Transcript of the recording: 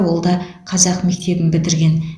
ол да қазақ мектебін бітірген